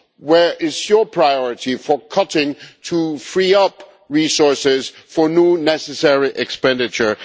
Where is your priority for making cuts to free up resources for new necessary expenditure?